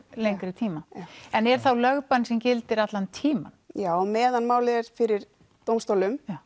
lengri tíma já en er þá lögbann sem gildir allan tímann já á meðan málið er fyrir dómstólum